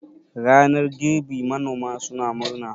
ranar girbi manoma suna murna